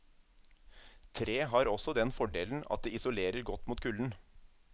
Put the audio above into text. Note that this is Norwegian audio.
Tre har også den fordelen at det isolerer godt mot kulden.